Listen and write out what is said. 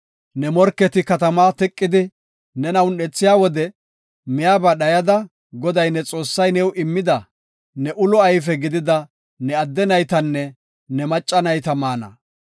Ne morketi katamaa teqidi nena un7ethiya wode miyaba dhayada, Goday ne Xoossay new immida ne ulo ayfe gidida ne adde naytanne ne macca nayta maana.